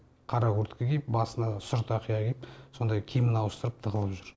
қара куртка киіп басына сұр тақия киіп сондай киімін ауыстырып тығылып жүр